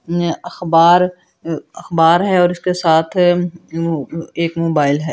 अखबार अखबार है और इसके साथ एक मोबाइल है।